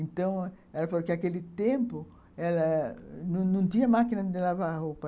Então, ela falou que, naquele tempo, não tinha máquina de lavar roupa.